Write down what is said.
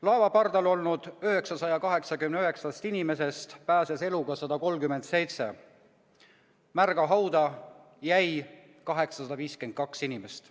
Laeva pardal olnud 989 inimesest pääses eluga 137, märga hauda jäi 852 inimest.